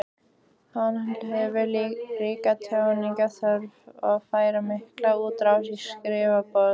Hann hefur ríka tjáningarþörf og fær mikla útrás við skrifborðið.